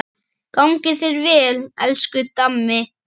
Gangi þér vel, elsku Dammi.